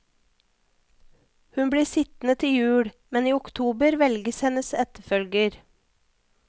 Hun blir sittende til jul, men i oktober velges hennes etterfølger.